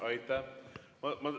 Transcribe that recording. Aitäh!